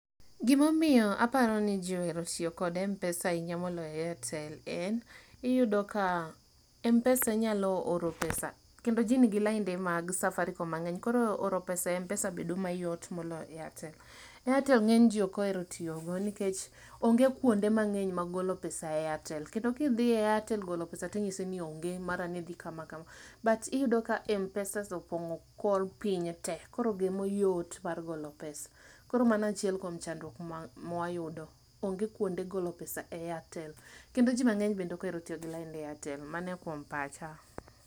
Gima omiyo aparoni jii ohero tiyo kod Mpesa ahinya moloyo Airtel en, iyudo ka Mpesa inyalo oro pesa kendo ji nigi lainde mag Safaricom mangeny koro oro pesa e Mpesa bedo mayot moloyo Airtel. Airtel ngeny jii ok ohero tiyo go nikech onge kuonde mangeny mar golo pesa e Airtel kendo ka idhi e Airtel golo pesa[sc] tinyisi ni onge mara ni idhi kama kama kama but iyudo ka Mpesa opongo kor piny tee koro gemo yot mar golo pesa. Koro mano achiel kuom chandruok ma wayudo ,onge kuonde golo pesa e Airtel kendo jii mangeny bende ok ohero tiyo gi lain mar Airtel, mano kuom pacha